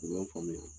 U y'an faamuya